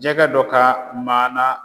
Jɛgɛ dɔ ka maana